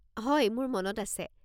হয়। মোৰ মনত আছে।